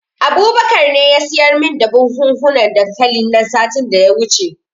Abubakar ne ya siyar min da buhunhukan dankalin nan satin da ya wuce.